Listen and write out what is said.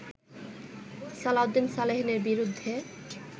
সালাউদ্দিন সালেহীনের বিরুদ্ধে